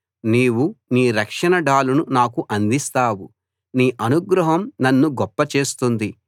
నీవు నీ రక్షణ డాలును నాకు అందిస్తావు నీ అనుగ్రహం నన్ను గొప్పచేస్తుంది